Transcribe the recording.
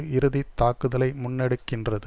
இறுதி தாக்குதலை முன்னெடுக்கின்றது